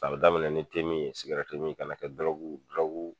A bɛ daminɛn ni temi ye sigɛtimin ka n'a kɛ